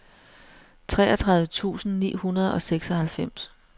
treogtredive tusind ni hundrede og seksoghalvfems